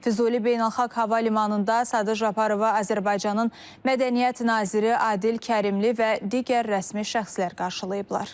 Füzuli Beynəlxalq Hava Limanında Sadır Japarovu Azərbaycanın Mədəniyyət naziri Adil Kərimli və digər rəsmi şəxslər qarşılayıblar.